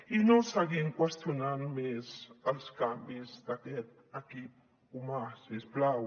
i no seguim qüestionant més els canvis d’aquest equip humà si us plau